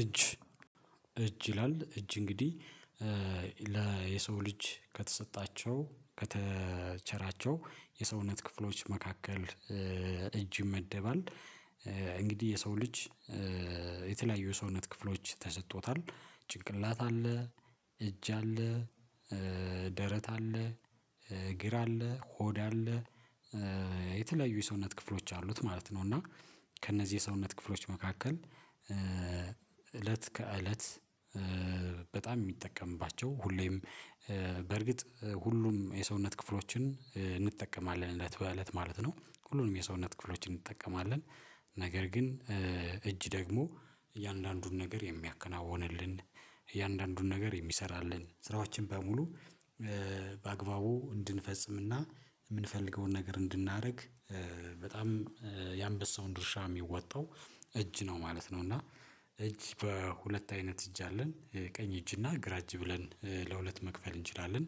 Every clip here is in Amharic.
እጅ እጅ ይላል እጅ እንግዲህ ለሰው ልጅ ከተሰጣቸው ከተቸራቸው የሰውነት ክፍሎች መካከል እጅ ይመደባል እንግዲህ የሰው ልጅ የተለያዩ ሰውነት ክፍሎች ተሰጥቶታል ጭንቅላት አለ እጅ አለ ደረት አለ እግር አለ ሆድ አለ የተለያዩ የሰውነት ክፍሎች አሉት ማለት ነው። እና ከእነዚህ የሰውነት ክፍሎች መካከል እለት ከእለት በጣም የሚጠቀምባቸው ሁሌም በእርግጥ ሁሉም የሰውነት ክፍሎችን እንጠቀማለን እለት በእለት ማለት ነው ሁሉንም የሰውነት ክፍሎችን እንጠቀማለን። ነገር ግን እጅ ደግሞ እያንዳንዱን ነገር የሚያከናውንልን እያንዳንዱን ነገር የሚሰራልን ስራዎችን በሙሉ በአግባቡ እንድንፈጽምና የምንፈልገውን ነገር እንድናደርግ በጣም የአንበሳውን ድርሻ የሚወጣው እጅ ነው ማለት ነው። እና እጅ በሁለት አይነት እጅ አለን ቀኝ እጅ እና ግራጅ ብለን ለሁለት መክፈል እንችላለን።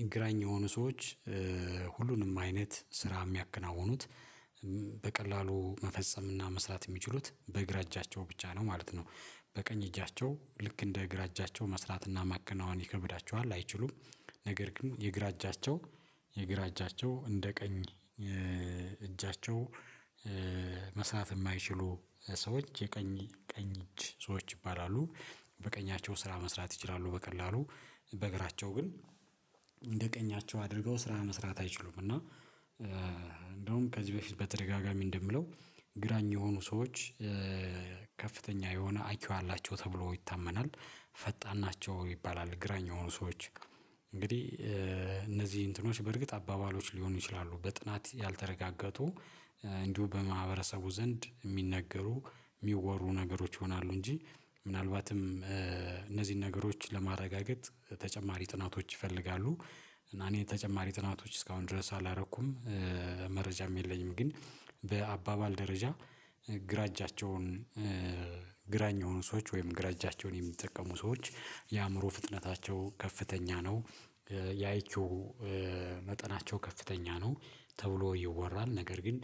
የግራኝ የሆኑ ሰዎች ሁሉንም አይነት ስራ የሚያከናውኑት በቀላሉ መፈጸምና መስራት የሚችሉት በእግራ እጃቸው ብቻ ነው ማለት ነው። በቀኝ እጃቸው ልክ እንደ እግራ እጃቸው መስራትና ማከናወን ይከብዳቸዋል አይችሉም። ነገር ግን የእግራ እጃቸው የግራ እጃቸው እንደ ቀኝ እጃቸው መስራት የማይችሉ ሰዎች የቀኝ ቀኝ እጅ ሰዎች ይባላሉ። በቀኛቸው ስራ መስራት ይችላሉ በቀላሉ በእግራቸው ግን እንደ ቀኛቸው አድርገው ስራ መስራት አይችሉም። እና እንደውም ከዚህ በፊት በተደጋጋሚ እንደምለው ግራኝ የሆኑ ሰዎች ከፍተኛ የሆነ አይኪው አላቸው ተብሎ ይታመናል። ፈጣን ናቸው ይባላል ግራኝ የሆኑ ሰዎች እንግዲህ እነዚህ እንትኖች በርግጥ አባባሎች ሊሆኑ ይችላሉ በጥናት ያልተረጋገጡ እንዲሁ በማህበረሰቡ ዘንድ የሚነገሩ የሚወሩ ነገሮች ይሆናሉ እንጂ ምናልባትም እነዚህን ነገሮች ለማረጋገጥ ተጨማሪ ጥናቶች ይፈልጋሉ። እና እኔ ተጨማሪ ጥናቶች እስካሁን ድረስ አላረኩም። መረጃም የለኝም ግን በአባባል ደረጃ ግራ እጃቸውን ግራኝ የሆኑ ሰዎች ወይም ግራ እጃቸውን የሚጠቀሙ ሰዎች የአእምሮ ፍጥነታቸው ከፍተኛ ነው። የአይ ኪው መጠናቸው ከፍተኛ ነው ተብሎ ይወራል ነገር ግን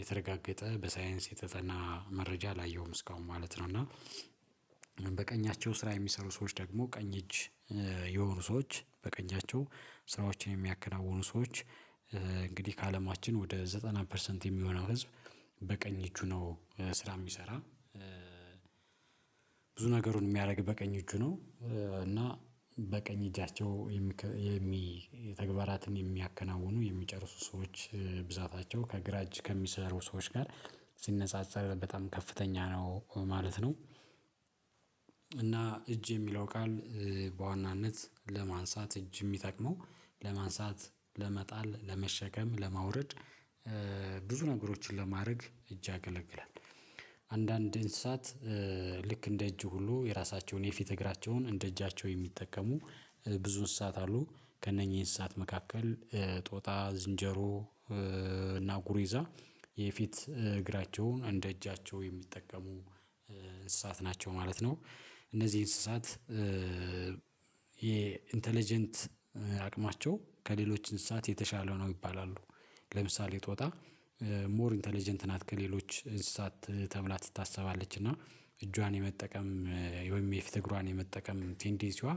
የተረጋገጠ በሳይንስ የተጠና መረጃ አላየሁም እስካሁን ማለት ነው። እና በቀኛቸው ስራ የሚሰሩ ሰዎች ደግሞ ቀኝ እጅ የሆኑ ሰዎች በቀኛቸው ስራዎችን የሚያከናውኑ ሰዎች እንግዲህ ከአለማችን ወደ ዘጠና ፐርሰንት የሚሆነው ህዝብ በቀኝ እጁ ነው ስራ የሚሰራ። ብዙ ነገሩን የሚያደርግ በቀኝ እጁ ነው እና በቀኝ እጃቸው የሚ የተግባራትን የሚያከናውኑ የሚጨርሱ ሰዎች ብዛታቸው ከግራጅ ከሚሰሩ ሰዎች ጋር ሲነጻጸር በጣም ከፍተኛ ነው ማለት ነው። እና እጅ የሚለው ቃል በዋናነት ለማንሳት እጅ የሚጠቅመው ለማንሳት ለመጣል ለመሸከም ለማውረድ ብዙ ነገሮችን ለማድረግ እጅ ያገለግላል። አንዳንድ እንስሳት ልክ እንደ እጅ ሁሉ የራሳቸውን የፊት እግራቸውን እንደ እጃቸው የሚጠቀሙ ብዙ እሳት አሉ ከእነኚህ እሳት መካከል ጦጣ ዝንጀሮ እና ጉሬዛ የፊት እግራቸውን እንደ እጃቸው የሚጠቀሙ እንስሳት ናቸው ማለት ነው። እነዚህ እንስሳት የኢንተለጀንት አቅማቸው ከሌሎች እንስሳት የተሻለ ነው ይባላሉ። ለምሳሌ ጦጣ ሞር ኢንተለጀንት ናት ከሌሎች እንስሳት ተብላ ትታሰባለች እና እጇን የመጠቀም ወይም እግሯን የመጠቀም ቴንዲሲዋ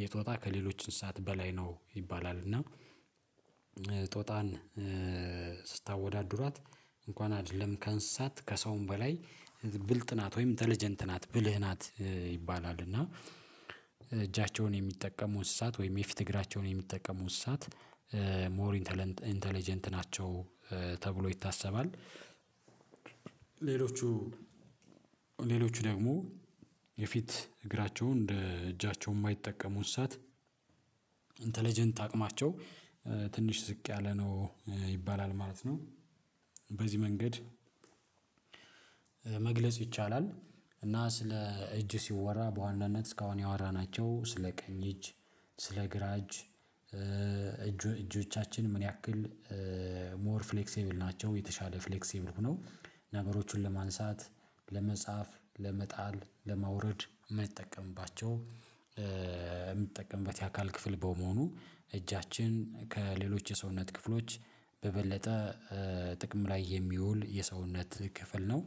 የጦጣ ከሌሎች እንስሳት በላይ ነው ይባላል። እና ጦጣን ስታወዳድሯት እንኳን አይደለም ከእንስሳት ከሰውም በላይ ብልጥ ናት ወይም ኢንተለጀንት ናት ብልህ ናት ይባላል። እና እጃቸውን የሚጠቀሙ እንስሳት ወይም የፊት እግራቸውን የሚጠቀሙ እንስሳት ሞር ኢንተለንት ኢንተለጀንት ናቸው ተብሎ ይታሰባል። ሌሎቹ ሌሎቹ ደግሞ የፊት እግራቸውን እንደ እጃቸው የማይጠቀሙት እሳት ኢንተለጀንት አቅማቸው ትንሽ ዝቅ ያለ ነው ይባላል ማለት ነው። በዚህ መንገድ መግለጽ ይቻላል። እና ስለ እጅ ሲወራ በዋናነት እስካሁን ያወራናቸው ስለ ቀኝ እጅ ስለ ግራ እጅ እጆቻችን ምን ያክል ሞር ፍሌክሲብል ናቸው የተሻለ ፍሌክሲብል ሆኖ ነገሮችን ለማንሳት ለመጻፍ ለመጣል ለማውረድ የምንጠቀምባቸው የምንጠቀምበት የአካል ክፍል በመሆኑ እጃችን ከሌሎች የሰውነት ክፍሎች በበለጠ ጥቅም ላይ የሚውል የሰውነት ክፍል ነው።